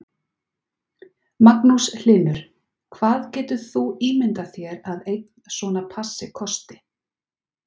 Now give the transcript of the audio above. Magnús Hlynur: Hvað getur þú ímyndað þér að einn svona passi kosti?